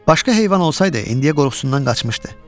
Başqa heyvan olsaydı indiyə qorxusundan qaçmışdı.